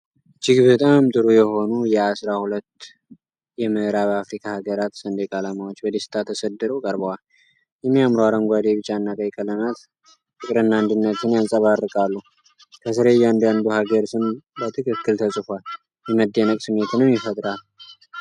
እጅግ በጣም ጥሩ የሆኑ የአሥራ ሁለት የምዕራብ አፍሪካ ሀገራት ሰንደቅ ዓላማዎች በደስታ ተሰድረው ቀርበዋል። የሚያምሩ አረንጓዴ፣ ቢጫና ቀይ ቀለማት ፍቅርና አንድነትን ያንጸባርቃሉ። ከስር የእያንዳንዱ ሀገር ስም በትክክል ተጽፏል፤ የመደነቅ ስሜትንም ይፈጥራል።